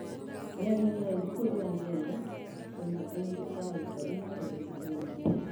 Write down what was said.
Mĩario nĩ raithi kũrĩ agenda tondũ aingĩ a aikari maaragia Gĩthũngũ.